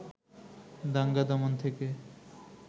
দাঙ্গা দমন থেকে